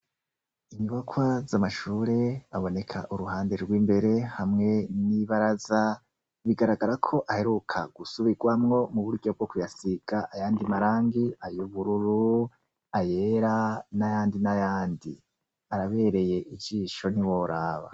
Inyubakwa z' amashure aboneka uruhande gw' imbere hamwe n' ibaraza bigaragara ko aheruka gusubigwamwo mu buryo bwo kuyasiga ayandi marangi ayubururu ayera n' ayandi n' ayandi, arabereye ijisho ntiworaba.